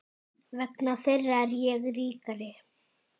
Vegna þeirra er ég ríkari.